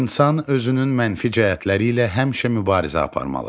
İnsan özünün mənfi cəhətləri ilə həmişə mübarizə aparmalıdır.